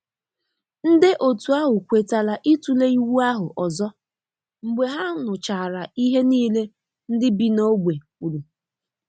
Nde otu ahụ kwetara ịtule iwu ahụ ọzọ mgbe ha nụchara ihe niile ndị bi na ogbe kwuru